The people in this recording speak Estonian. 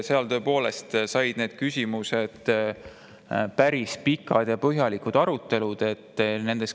Seal toimusid nende küsimuste üle päris pikad ja põhjalikud arutelud.